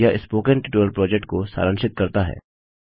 यह spoken tutorial project को सारांशित करता है